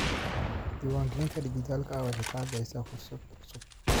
Diiwaangelinta dhijitaalka ah waxay bixisaa fursado cusub.